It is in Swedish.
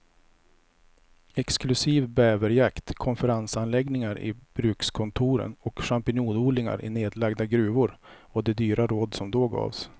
Exklusiv bäverjakt, konferensanläggningar i brukskontoren och champinjonodlingar i nedlagda gruvor var de dyra råd som då gavs.